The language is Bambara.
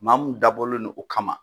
Maa mun dabɔlen do u kama.